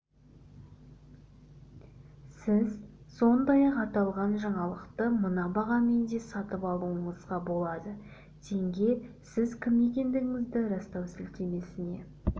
сіз сондай-ақ аталған жаңалықты мына бағамен де сатып алуыңызға болады теңге сіз кім екендігіңізді растау сілтемесіне